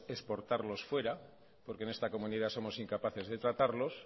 exportarlos fuera porque en esta comunidad somos incapaces de tratarlos